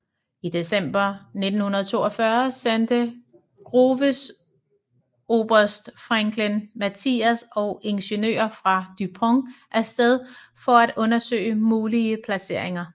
I december 1942 sendte Groves oberst Franklin Matthias og ingeniører fra DuPont af sted for at undersøge mulige placeringer